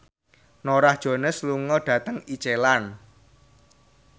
Norah Jones lunga dhateng Iceland